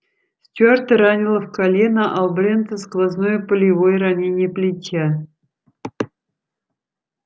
стюарта ранило в колено а у брента сквозное пулевое ранение плеча